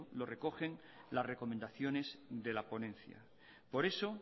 lo recogen las recomendaciones de la ponencia por eso